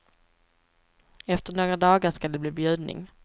Efter några dagar skall det bli bjudning.